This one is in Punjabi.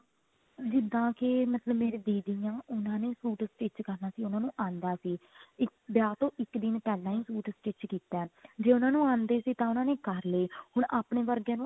ਜਿੱਦਾਂ ਕੇ ਮਤਲਬ ਮੇਰੇ ਦੀਦੀ ਆ ਉਹਨਾਂ ਨੇ suit stich ਕਰਨਾ ਸੀ ਉਹਨਾ ਨੂੰ ਆਂਦਾ ਸੀ ਵਿਆਹ ਤੋਂ ਇੱਕ ਦਿਨ ਪਹਿਲਾਂ ਹੀ suit stich ਕੀਤਾ ਜੇ ਉਹਨੂੰ ਆਂਦੇ ਸੀ ਤਾਂ ਉਹਨਾ ਨੇ ਕਰਲੇ ਹੁਣ ਆਪਣੇ ਵਰਗਿਆਂ ਨੂੰ